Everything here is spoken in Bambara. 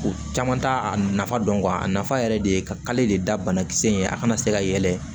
U caman t'a a nafa dɔn a nafa yɛrɛ de ye kale de da banakisɛ in ye a kana se ka yɛlɛ